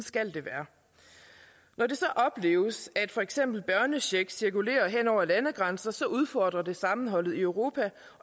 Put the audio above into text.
skal det være når det så opleves at for eksempel børnecheck cirkulerer hen over landegrænser så udfordrer det sammenholdet i europa